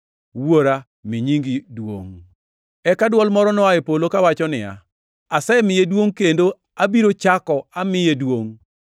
Wuora, mi nyingi duongʼ!” Eka dwol moro noa e polo, kawacho niya, “Asemiye duongʼ kendo abiro chako amiye duongʼ.”